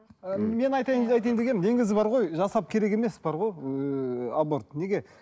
ы мен айтайын айтайын дегенім негізі бар ғой жасап керек емес бар ғой ыыы аборт неге